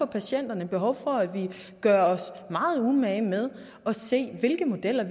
patienterne behov for at vi gør os meget umage med at se på hvilke modeller